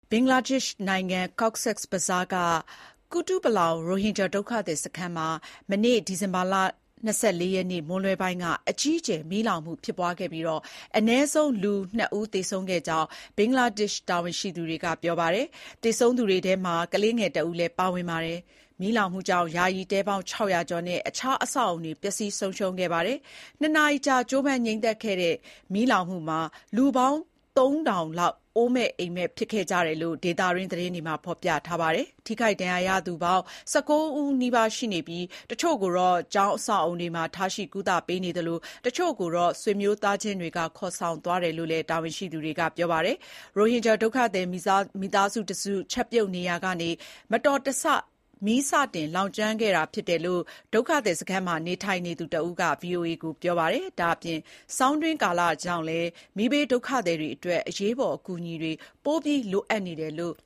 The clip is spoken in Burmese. ဘင်္ဂလားဒေ့ရှ် နိုင်ငံ Cox's Bazar မှာရှိတဲ့ Kutupalong ရိုဟင်ဂျာဒုက္ခသည်စခန်းမှာ မနေ့ ဒီဇင်ဘာလ (၂၄) ရက်နေ့ မွန်းလွဲပိုင်းက မီးလောင်မှုဖြစ်ပွားခဲ့တာမှာ အနည်းဆုံး လူ ၂ ဦးသေဆုံးခဲ့ကြောင်း ဘင်္ဂလားဒေ့ရှ် တာဝန်ရှိသူတွေက ပြောပါတယ်။ သေဆုံးသူတွေအထဲမှာ ကလေးငယ်တဦးလည်း ပါဝင်ပါတယ်။ မီးလောင်မှုကြောင့် ယာယီတဲပေါင်း ၆၀၀ ကျော်နဲ့ အခြားအဆောက်အအုံတွေ ပျက်စီးဆုံးရှုံးခဲ့တယ်လို့ ဆိုပါတယ်။ ၂ နာရီကြာ ကြိုးပမ်းငြိမ်းသတ်ခဲ့ရတဲ့ မီးလောင်မှုမှာ လူပေါင်း ၃,၀၀၀ လောက် အိုးမဲ့အိမ်မဲ့ ဖြစ်ခဲ့ကြ တယ်လို့ ဒေသတွင်း သတင်းတွေမှာ ဖေါ်ပြထားပါတယ်။ ထိခိုက်ဒဏ်ရာရသူ ၁၉ ဦးနီးပါး ရှိခဲ့တဲ့ အထဲက တချို့ကို ကျောင်းအဆောက်အအုံတွေမှာ ထားရှိ ကုသပေးနေပြီး တချို့ကိုတော့ ဆွေမျိုး သားချင်းတွေက ခေါ်ဆောင်သွားတယ်လို့ တာ၀န်ရှိသူတွေက ပြောပါတယ်။ ရိုဟင်ဂျာဒုက္ခသည် မိသားစုတစု ချက်ပြုတ်နေရာကနေ မတော်တဆ မီးစတင်လောင်ကျွမ်းခဲ့တာ ဖြစ်တယ်လို့ ဒုက္ခသည်စခန်းမှာ နေထိုင်နေသူတဦးက ဗွီအိုအေကိုပြောပါတယ်။ ဒါအပြင် ဆောင်းတွင်း ကာလကြောင့် မီးဘေးဒုက္ခသည်တွေအတွက် အရေးပေါ် အကူအညီတွေ ပိုမိုလိုအပ်နေတယ်လို့